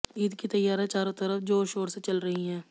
ईद की तैयारियां चारों तरफ जोर शोर से चल रही है